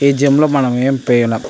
ఈ జిం లో మనం ఎం --